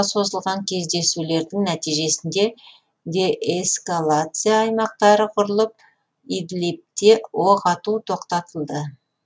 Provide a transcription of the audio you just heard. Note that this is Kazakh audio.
созылған кездесулердің нәтижесінде деэскалация аймақтары құрылып идлибте оқ ату тоқтатылды